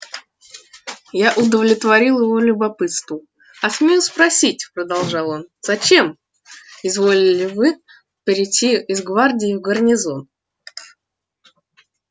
я удовлетворил его любопытству а смею спросить продолжал он зачем изволили вы перейти из гвардии в гарнизон